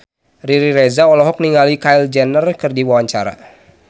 Riri Reza olohok ningali Kylie Jenner keur diwawancara